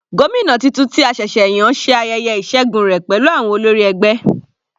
Gómìnà titun tí a ṣẹ̀ṣẹ̀ yàn ṣe ayẹyẹ ìṣẹgun rẹ̀ pẹ̀lú àwọn olórí ẹgbẹ́.